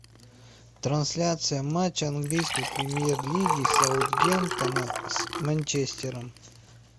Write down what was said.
трансляция матча английской премьер лиги саутгемптона с манчестером